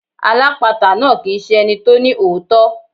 Alápatà náà kì ń ṣe ẹni tó ní òótọ́.